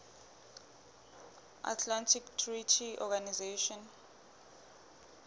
atlantic treaty organization